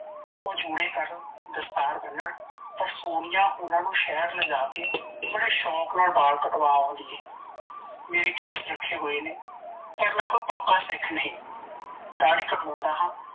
ਓਹ ਚੁੜੇ ਕਰਣ ਦਸਤਾਰ ਬਨਣ ਪਰ ਸੋਨੀਆ ਉਨਾਂ ਨੂੰ ਸਹਿਰ ਲੇਜਾਕੇ ਬੜੇ ਸ਼ੋਂਕ ਨਾਲ ਬਾਲ ਕਟਵਾ ਆਉਂਦੀ ਏ ਮੇਰੇ ਕੇਸ ਰੱਖੇ ਹੋਏ ਨੇ ਪਰ ਮੈ ਕੋਈ ਪੱਕਾ ਸਿੱਖ ਨਹੀਂ ਦਾੜੀ ਕਟਵਾਉਂਦਾ ਹਾਂ